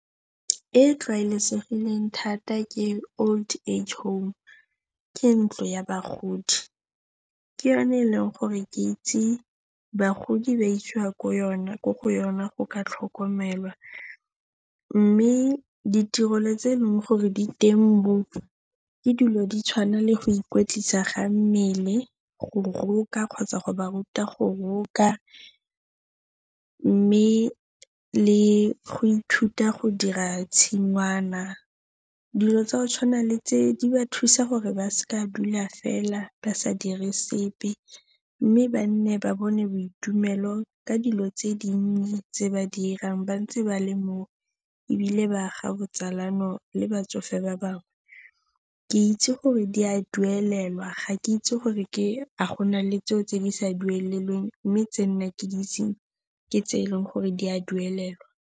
E e tlwaelesegileng thata ke old age home, ke ntlo ya bagodi. Ke yone e leng gore ke itse bagodi ba isiwa ko yona, ko go yone go ka tlhokomelwa. Mme ditirelo tse eleng gore di teng koo ke dilo di tshwana le go ikwetlisa ga mmele, go roka kgotsa go ba ruta go roka mme le go ithuta go dira tshingwana. Dilo tsa go tshwana le tse di ba thusa gore ba se ke ba dula fela ba sa dire sepe mme ba nne ba bone boitumelo ka dilo tse dinnye tse ba di dirang ba ntse ba le mo ebile ba aga botsalano le batsofe ba bangwe. Ke itse gore di a duelelwa ga ke itse gore ke a go na le tseo tse di sa duelelweng mme tse nna ke di itseng ke tse e leng gore di a duelelwa.